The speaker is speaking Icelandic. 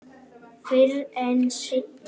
Fyrr en seinna.